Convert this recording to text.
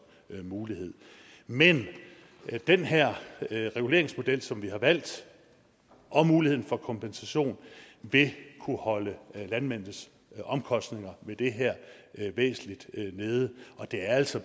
en mulighed men den her reguleringsmodel som vi har valgt og muligheden for kompensation vil kunne holde landmændenes omkostninger ved det her væsentligt nede og det er altså